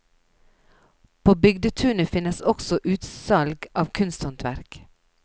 På bygdetunet finnes også utsalg av kunsthåndverk.